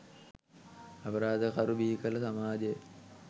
අපරාධකරු බිහිකල සමාජයයි